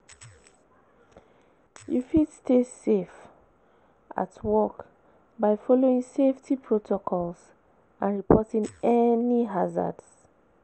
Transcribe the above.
You fit stay safe at work by following safety protocols and reporting any hazards.